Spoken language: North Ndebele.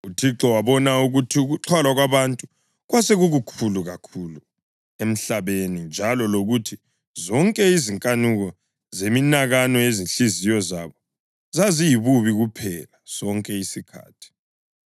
UThixo wabona ukuthi ukuxhwala kwabantu kwasekukukhulu kakhulu emhlabeni, njalo lokuthi zonke izinkanuko zeminakano yezinhliziyo zabo zaziyibubi kuphela sonke isikhathi.